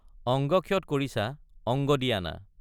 অঙ্গক্ষত কৰিছা অঙ্গ দি আনা।